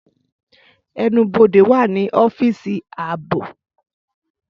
Ẹnubode wa ni ọfiisi aabo